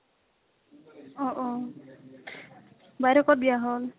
অ অ । বেইদেউৰ কত বিয়া হল?